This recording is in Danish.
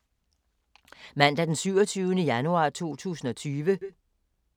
Mandag d. 27. januar 2020